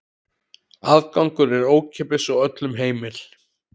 Aðgangur er ókeypis og öllum heimill.